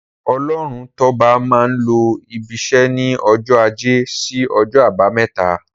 Ọlọ́runtọ́ba máa n lọ ibiṣẹ́ ní ọjọ́ ajé sí ọjọ́ àbámẹ́ta.